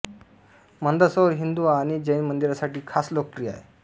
मंदसौर हिन्दू आणि जैन मंदिरांसाठी खास लोकप्रिय आहे